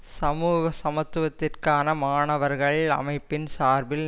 சமூக சமத்துவத்திற்கான மாணவர்கள் அமைப்பின் சார்பில்